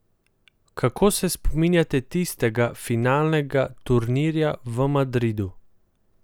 Kako se spominjate tistega finalnega turnirja v Madridu?